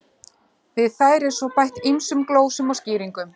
Við þær er svo bætt ýmsum glósum og skýringum.